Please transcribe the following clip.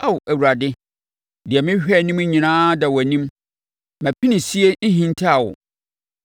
Ao Awurade, deɛ merehwɛ anim nyinaa da wʼanim; mʼapinisie nhintaa wo.